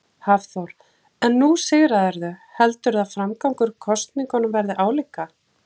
Hafþór: En nú sigraðirðu, heldurðu að framgangur kosningunum verði álíka?